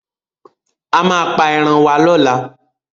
A máa pa eran wá lọ́la.